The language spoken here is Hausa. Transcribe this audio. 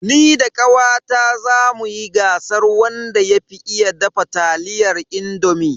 Ni da kawata zamu yi gasar wanda ya fi iya dafa taliyar indomi.